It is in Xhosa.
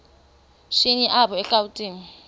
shini apho erawutini